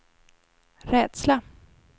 rädsla